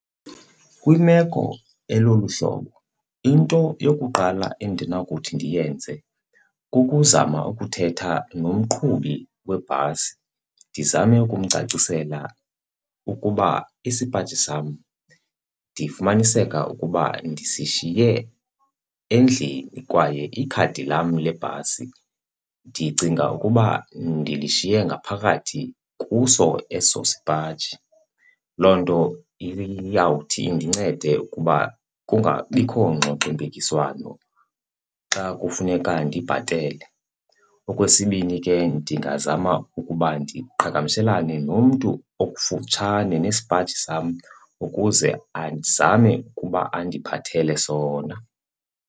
Kwimeko elolu hlobo into yokuqala endinakuthi ndiyenze kukuzama ukuthetha nomqhubi webhasi, ndizame ukumcacisela ukuba isipaji sam ndifumaniseka ukuba ndisishiye endlini kwaye ikhadi lam lebhasi ndicinga ukuba ndilishiye ngaphakathi kuso eso sipaji. Loo nto iyawuthi indincede ukuba kungabikho ngxoxompikiswano xa kufuneka ndibhatele. Okwesibini ke ndingazama ukuba ndiqhagamshelane nomntu okufutshane nesipaji sam ukuze azame ukuba andiphathele sona.